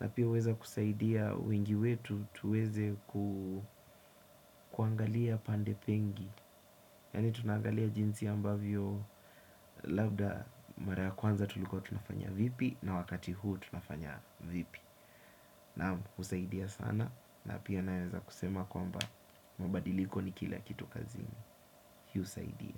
na pia huweza kusaidia wengi wetu tuweze kuangalia pande pengi yaani tunaangalia jinsi ambavyo labda mara ya kwanza tulikuwa tunafanya vipi na wakati huu tunafanya vipi na kusaidia sana na pia naweza kusema kwamba mabadiliko ni kila kitu kazini. Hiusaidia.